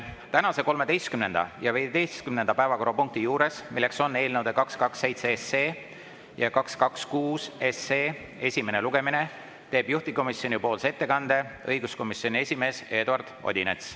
Tänase 13. ja 15. päevakorrapunkti juures, milleks on eelnõude 227 ja 226 esimene lugemine, teeb juhtivkomisjoni ettekande õiguskomisjoni esimees Eduard Odinets.